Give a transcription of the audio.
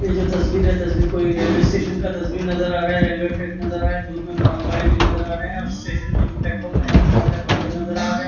ये जो तस्वीर है रेलवे स्टेशन का तस्वीर नज़र आ रहा है रेलवे स्टेशन नज़ारा आ रहा है धुप में माल गाडी भी नज़र आ रह है और स्टेशन में जो प्लेटफॉर्म है बोहोत सारे बन्दे नज़र आ रहे है।